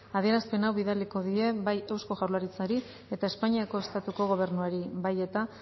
adierazpen hau bidaliko die bai eusko jaurlaritzari eta espainiako estatuko gobernuari bai eta